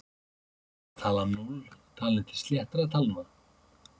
Er talan núll talin til sléttra talna?